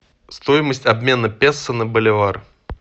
стоимость обмена песо на боливар